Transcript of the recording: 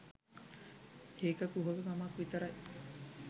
ඒක කුහක කමක් විතරයි